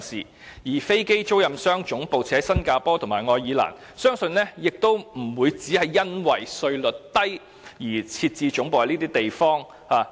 至於飛機租賃商把總部設於新加坡和愛爾蘭，相信也不是純粹由於稅率低，便選擇在該處設置總部。